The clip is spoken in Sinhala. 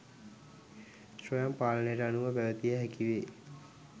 ස්වයං පාලනයකට අනුව පැවැතිය හැකිවේ.